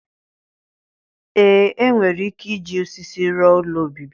Ee enwere ike iji osisi rụọ ụlọ obibi